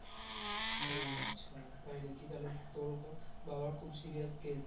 ও আচ্ছা তাই নাকি তাহলে তোর ও তো বাবার খুব serious case